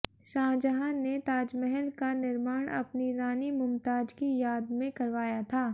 शाहजहां ने ताजमहल का निर्माण अपनी रानी मुमताज की याद में करवाया था